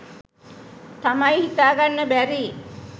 තමයි හිතාගන්න බැරි.